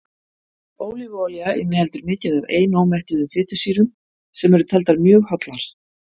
ólífuolía inniheldur mikið af einómettuðum fitusýrum sem eru taldar mjög hollar